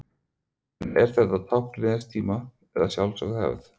En er þetta tákn liðins tíma, eða sjálfsögð hefð?